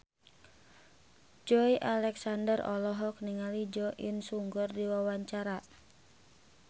Joey Alexander olohok ningali Jo In Sung keur diwawancara